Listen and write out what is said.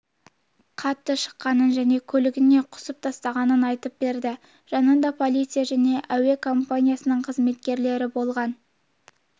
қатты шыққанын және көйлегіне құсып тастағанын айтып берді жанында полиция және әуе компаниясының қызметкерлері болған